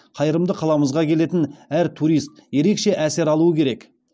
қайырымды қаламызға келетін әр турист ерекше әсер алуы керек